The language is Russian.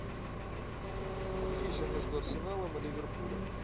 встреча между арсеналом и ливерпулем